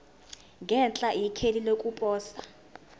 ngenhla ikheli lokuposa